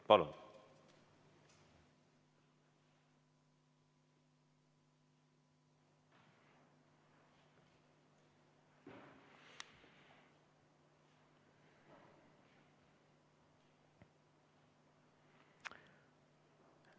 Palun!